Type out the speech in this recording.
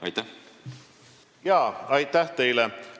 Aitäh teile!